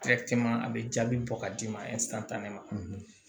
a bɛ jaabi bɔ ka d'i ma ne ma